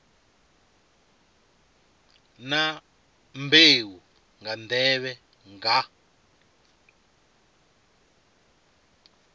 na mbeu nga nḓevhe nga